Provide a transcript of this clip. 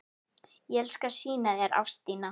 Ég skal sýna þér Ástina.